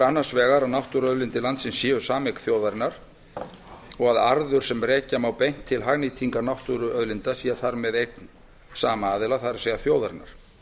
annars vegar að náttúruauðlindir landsins séu sameign þjóðarinnar og að arður sem rekja má beint til hagnýtingar náttúruauðlinda sé þar með eign sama aðila það er þjóðarinnar